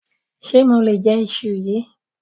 Ṣe mo lè je íṣu yìí?